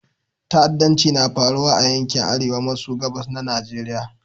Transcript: Ta'addanci na faruwa a yankin Arewa maso gabas na Nigeriya.